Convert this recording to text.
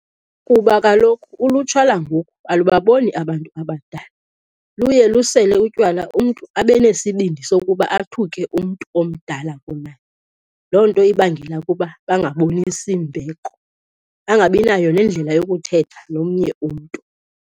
Kuba kaloku ulutsha langoku ulubaboni abantu abadala, luye lusele utywala umntu abe nesibindi sokuba athuke umntu omdala kunaye. Loo nto ibangela ukuba bangabonisi mbeko, bangabinayo nendlela yokuthetha nomnye umntu.